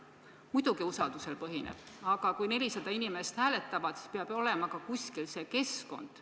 Muidugi põhineb, aga kui 400 inimest hääletavad, siis peab ju kuskil olema ka see keskkond.